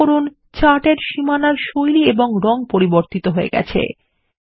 লক্ষ্য করুন চার্ট এর সীমানার শৈলী এবং রং পরিবর্তিত হয়ে গেছে